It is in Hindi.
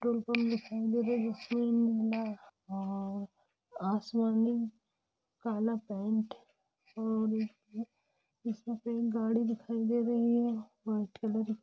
पेट्रोल पंप दिखाई दे रहा है जिसमें नीला और आसमानी काला पैं पेंट और गाडी दिखाई दे रही है व्हाइट कलर की --